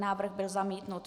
Návrh byl zamítnut.